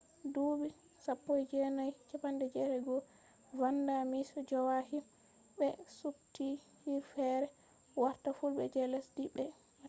dubi 1981 vanda miss joaquim be suptti fure fere warta fulle je lesdi mai pat